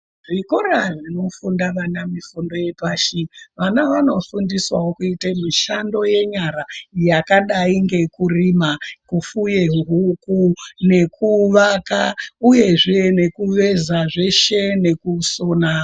Zvikora zvinofunda vana mifundo yepashi vana vanofundiswewo kuita mishando yenyara yakadai ngekurima , kufuye huku, nekuvaka uyezve nekuveza zveshe .. nekusona